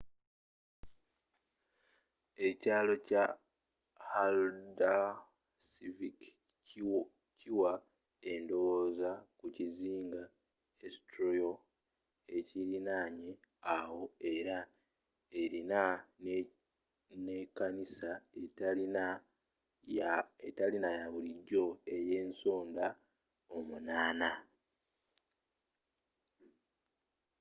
ekyaalo kya haldarsvík kiwa endowooza ku kizinga eysturoy ekiriranye awo era erina ne kanisa etali yabulijjo eyensonda omunana